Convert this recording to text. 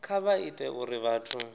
kha vha ite uri vhathu